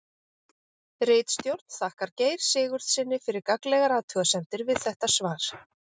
Ritstjórn þakkar Geir Sigurðssyni fyrir gagnlegar athugasemdir við þetta svar.